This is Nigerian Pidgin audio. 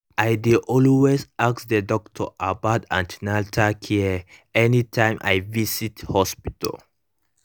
i dey always ask the doctor about an ten atal care anytym i visit hospital